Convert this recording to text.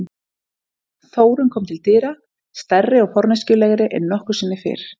Þórunn kom til dyra, stærri og forneskjulegri en nokkru sinni fyrr.